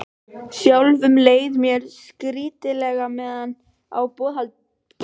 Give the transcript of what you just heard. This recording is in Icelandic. Sjálfum leið mér skrýtilega meðan á borðhaldinu stóð.